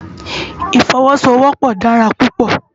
Ifòwòsówòpò dàrá púpò